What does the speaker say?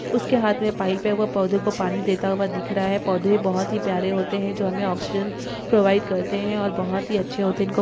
उसके हाथ में पाइप है वह पौधों को पानी देता हुआ दिख रहा है पौधे बहुत ही प्यारे होते हैं जो हमें ऑक्सीजन प्रोवाइड करते हैं और बहुत ही अच्छे होते हैं इनको--